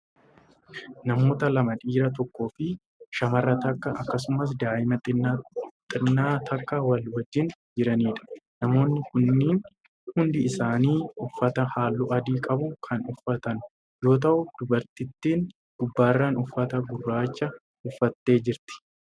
Namoota lama dhiira tokkoofi shamara takka akkasumas daa'ima xinnaa tokko wal wajjiin jiraniidha. namoonni kunniin hundi isaanii uffata halluu adii qabu Kan uffatan yoo ta'u dubartittiin gubbaarran uffata gurraacha uffattee jirti.